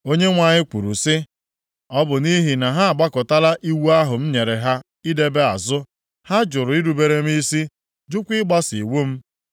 Onyenwe anyị kwuru sị, “Ọ bụ nʼihi na ha agbakụtala iwu ahụ m nyere ha idebe azụ. Ha jụrụ irubere m isi, jụkwa ịgbaso iwu m.